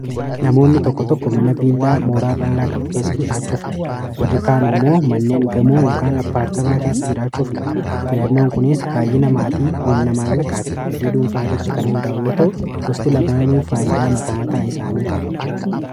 Namoonni tokko tokko mana viillaa mooraa ba`laa qabu keessa jiraachuu filatu. Warri kaan immoo manneen gamoo kan apaartamaa keessa jiraachuu filatu. Filannoon kunis baay'ina namaa, humna, maallaqaa fi fedhii dhuunfaa irratti kan hundaa'u yoo ta'u gosti lamaanuu faayidaa mata mataa isaanii qabu.